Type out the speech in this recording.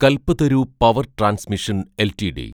Kalpataru power transmission LTD